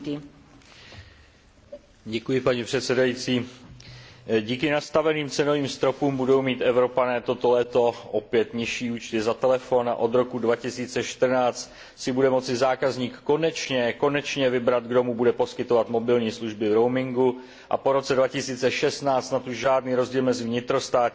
Paní předsedající, díky nastaveným cenovým stropům budou mít Evropané toto léto opět nižší účty za telefon a od roku 2014 si bude moci zákazník konečně vybrat, kdo mu bude poskytovat mobilní služby v roamingu, a po roce 2016 snad už žádný rozdíl mezi vnitrostátním a mezinárodním voláním ani nebude.